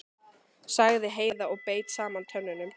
sagði Heiða og beit saman tönnunum.